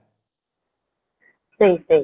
ଠିକ ଠିକ